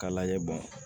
K'a lajɛ